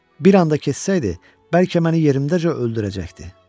Bir anda kessəydi, bəlkə məni yerimdəcə öldürəcəkdi.